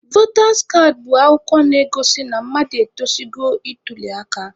Votas kaadị bụ akwụkwọ na-egosi na mmadụ etozugo ịtuli aka.